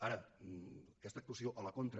ara aquesta actuació a la contra